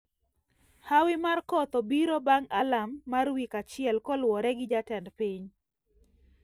Hawi mar koth obiro bang` alarm mar wik achiel koluore gi jatend piny